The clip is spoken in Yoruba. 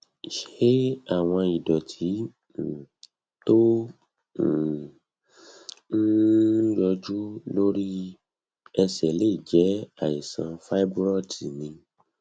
ṣé àwọn ìdòtí um tó um ń ń yọjú lórí ẹsè lè jé àìsàn fibroids ni